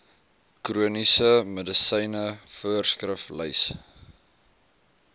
chroniese medisyne voorskriflys